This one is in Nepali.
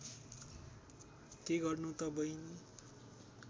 के गर्नु त बहिनी